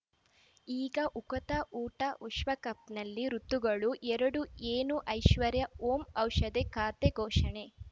ಈಗ ಉಕುತ ಊಟ ವಿಶ್ವಕಪ್‌ನಲ್ಲಿ ಋತುಗಳು ಎರಡು ಏನು ಐಶ್ವರ್ಯಾ ಓಂ ಔಷಧಿ ಖಾತೆ ಘೋಷಣೆ